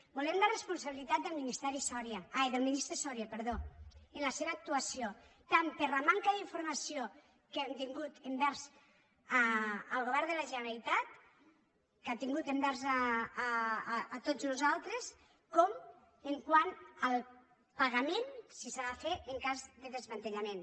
volem la responsabilitat del ministre soria en la seva actuació tant per la manca d’informació que ha tingut envers el govern de la generalitat que ha tingut envers tots nosaltres com quant al pagament si s’ha de fer en cas de desmantellament